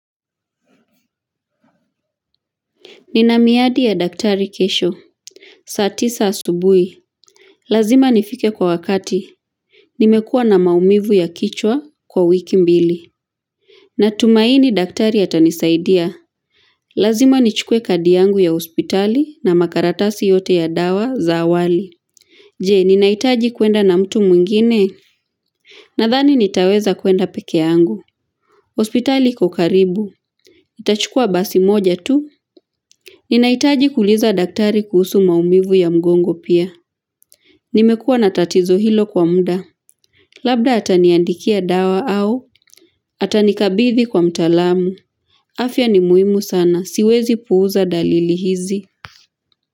Nina miadi ya daktari kesho. Saa tisa asubuhi. Lazima nifike kwa wakati. Nimekua na maumivu ya kichwa kwa wiki mbili. Na tumaini daktari atanisaidia. Lazima nichukue kadi yangu ya hospitali na makaratasi yote ya dawa za awali. Je, ninahitaji kuenda na mtu mwingine. Nadhani nitaweza kuenda peke yangu. Hospitali iko karibu. Itachukua basi moja tu. Ninahitaji kuuliza daktari kuhusu maumivu ya mgongo pia. Nimekua na tatizo hilo kwa muda. Labda ataniandikia dawa au, atanikabidhi kwa mtaalamu. Afya ni muhimu sana, siwezi puuza dalili hizi.